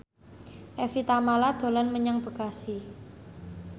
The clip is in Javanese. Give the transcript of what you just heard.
Evie Tamala dolan menyang Bekasi